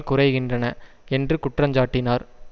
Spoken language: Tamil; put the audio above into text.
குறைகின்றன என்று குற்றஞ்சாட்டினார்